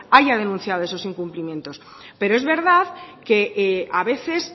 haya denunciado esos incumplimientos pero es verdad que a veces